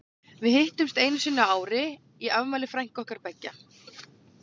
Við hittumst einu sinni á ári í afmæli frænku okkar beggja.